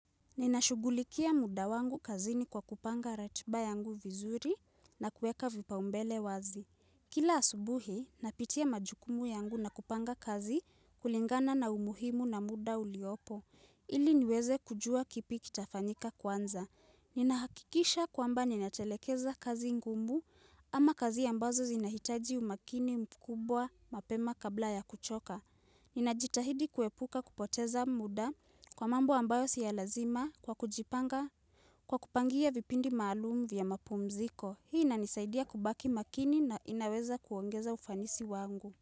Ninashugulikia muda wangu kazini kwa kupanga ratiba yangu vizuri na kuweka vibao mbele wazi. Kila asubuhi, napitia majukumu yangu na kupanga kazi kulingana na umuhimu na muda uliopo. Ili niweze kujua kipi kitafanyika kwanza. Ninahakikisha kwamba ninatelekeza kazi ngumbu ama kazi ambazo zinahitaji umakini mkubwa mapema kabla ya kuchoka. Ninajitahidi kuepuka kupoteza muda kwa mambo ambayo si ya lazima kwa kujipanga kwa kupangia vipindi maalumu vya mapumziko. Ninahakikisha kwamba ninatelekeza kazi ngunbu ama kazi ambazo zinahitaji umakini mkubwa mapema kabla ya kuchoka.